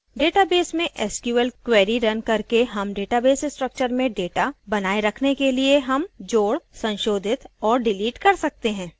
database में sql queries run करके हम database structures में data बनाए रखने के लिए हम जोड संशोधित और डिलीट कर सकते हैं